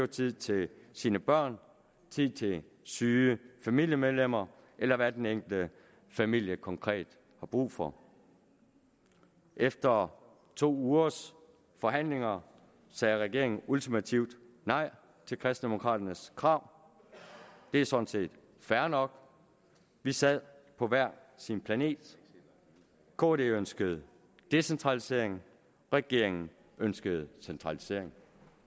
tid til sine børn tid til syge familiemedlemmer eller hvad den enkelte familie konkret har brug for efter to ugers forhandlinger sagde regeringen ultimativt nej til kristendemokraternes krav det er sådan set fair nok vi sad på hver sin planet kd ønskede decentralisering regeringen ønskede centralisering